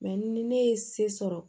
ni ne ye se sɔrɔ